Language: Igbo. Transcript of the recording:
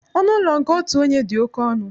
Ọnụ ụlọ nke otu onye dị oké ọnụ